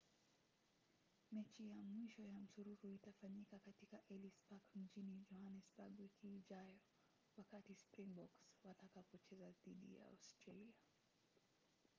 mechi ya mwisho ya msururu itafanyika katika ellis park mjini johannesburg wiki ijayo wakati springboks watakapocheza dhidi ya australia